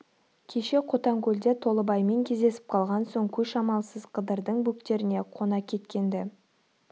кеше қотанкөлде толыбаймен кездесіп калған соң көш амалсыз қыдырдың бөктеріне қона кеткен-ді